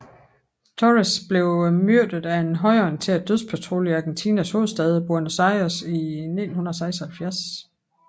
Torres blev myrdet af en højreorienteret dødspatrulje i Argentinas hovedstad Buenos Aires i 1976